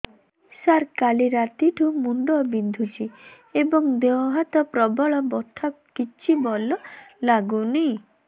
ସାର କାଲି ରାତିଠୁ ମୁଣ୍ଡ ବିନ୍ଧୁଛି ଏବଂ ଦେହ ହାତ ପ୍ରବଳ ବଥା କିଛି ଭଲ ଲାଗୁନି